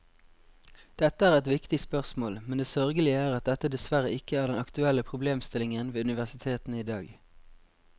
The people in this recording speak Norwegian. Dette er et viktig spørsmål, men det sørgelige er at dette dessverre ikke er den aktuelle problemstillingen ved universitetene i dag.